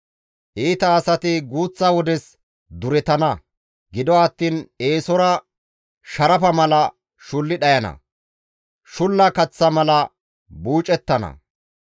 Iita asati guuththa wodes duretana; gido attiin eesora sharafa mala shulli dhayana; shulla kaththa mala buucettana.